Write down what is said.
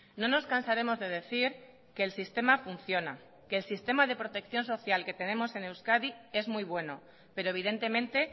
no nos cansaremos de decir que el sistema funciona que el sistema de protección social que tenemos en euskadi es muy bueno pero evidentemente